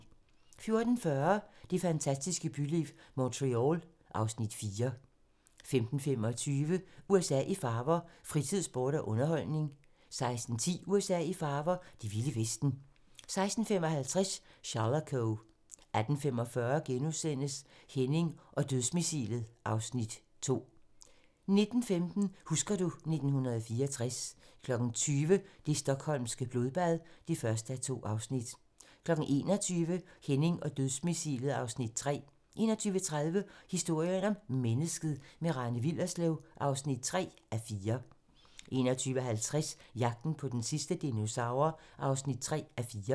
14:40: Det fantastiske byliv - Montreal (Afs. 4) 15:25: USA i farver - fritid, sport og underholdning 16:10: USA i farver - det vilde vesten 16:55: Shalako 18:45: Henning og dødsmissilet (Afs. 2)* 19:15: Husker du ... 1964 20:00: Det stockholmske blodbad (1:2) 21:00: Henning og dødsmissilet (Afs. 3) 21:30: Historien om mennesket - med Rane Willerslev (3:4) 21:50: Jagten på den sidste dinosaur (3:4)